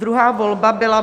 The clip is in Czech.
Druhá volba byla